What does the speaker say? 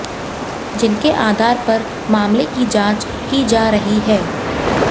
जिनके आधार पर मामले की जांच की जा रही है